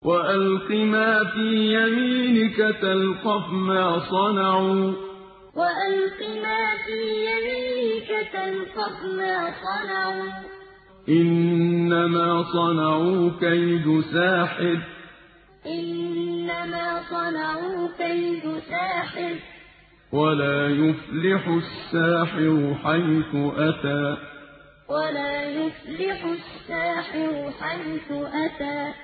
وَأَلْقِ مَا فِي يَمِينِكَ تَلْقَفْ مَا صَنَعُوا ۖ إِنَّمَا صَنَعُوا كَيْدُ سَاحِرٍ ۖ وَلَا يُفْلِحُ السَّاحِرُ حَيْثُ أَتَىٰ وَأَلْقِ مَا فِي يَمِينِكَ تَلْقَفْ مَا صَنَعُوا ۖ إِنَّمَا صَنَعُوا كَيْدُ سَاحِرٍ ۖ وَلَا يُفْلِحُ السَّاحِرُ حَيْثُ أَتَىٰ